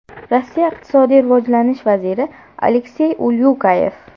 Rossiya iqtisodiy rivojlanish vaziri Aleksey Ulyukayev.